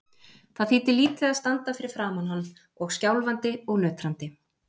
Það þýddi lítið að standa fyrir framan hann og skjálfandi og nötrandi.